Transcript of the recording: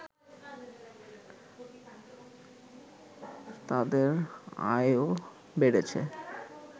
তাদের আয়ও বেড়েছে